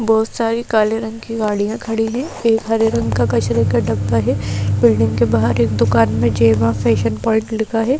बहुत सारी काले रंग की गाड़ियां खड़ी है एक हरे रंग का कचरे का डब्बा है बिल्डिंग के बाहर एक दुकान में जेमा फैशन पॉइंट लिखा है।